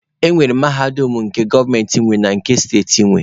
E nwekwara Mahadum nke gọọmenti nwe na nke steeti nwe.